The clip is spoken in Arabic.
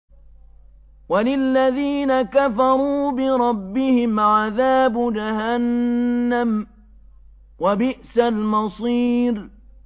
وَلِلَّذِينَ كَفَرُوا بِرَبِّهِمْ عَذَابُ جَهَنَّمَ ۖ وَبِئْسَ الْمَصِيرُ